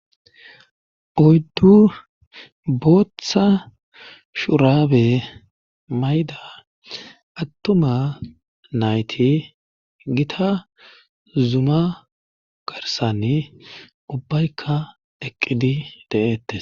oyddu booththa shuraabe mayda attuma nayti gita zuma garsanni ubbaykka eqqidi de'eettes